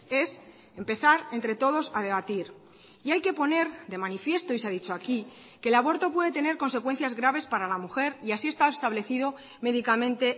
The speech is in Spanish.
es empezar entre todos a debatir y hay que poner de manifiesto y se ha dicho aquí que el aborto puede tener consecuencias graves para la mujer y así está establecido médicamente